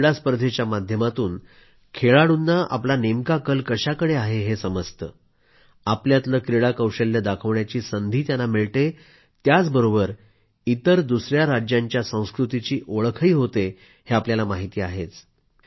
राष्ट्रीय क्रीडा स्पर्धेच्या माध्यमातून खेळाडूंना आपला नेमका कल कशाकडे आहे हे समजतं आपल्यातलं क्रीडा कौशल्य दाखवण्याची संधी मिळते त्याचबरोबर इतर दुसया राज्यांच्या संस्कृतीची ओळखही होते हे आपल्याला माहिती आहेच